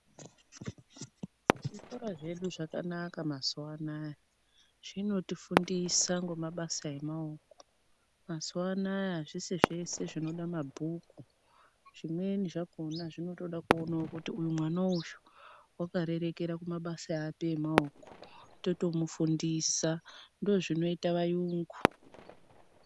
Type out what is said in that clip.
Zvikora zvedu zvakanaka mazuvanaya zvinotifundisa ngomabasa emaoko. Mazuvanaya azvisi zvese zvinoda mabhuku zvimweni zvakhona zvinotoda kuonawo kuti uyu mwana uyu wakarerekera kuri kumabasa emaoko kwakutomufundisa ndizvo zvinoita vayungu.